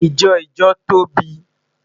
Ijọ ijo tobi